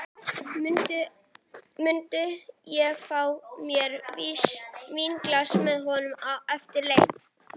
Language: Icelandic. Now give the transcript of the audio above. Mun ég fá mér vínglas með honum eftir leik?